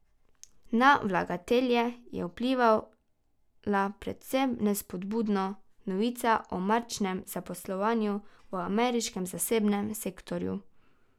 Na vlagatelje je vplivala predvsem nespodbudno novica o marčnem zaposlovanju v ameriškem zasebnem sektorju.